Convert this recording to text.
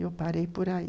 Eu parei por aí.